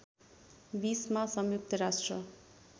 २० मा संयुक्त राष्ट्र